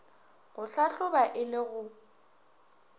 go hlahloba e le go